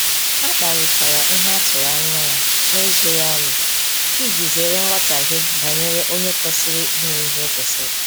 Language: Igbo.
Ha kparitara ihe atụrụ anya ya n'ezoghi ọnụ iji zere nghọtaghe banyere onye kwesịrị inye ihe o kwesiri